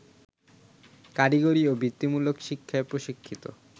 কারিগরি ও বৃত্তিমূলক শিক্ষায় প্রশিক্ষিত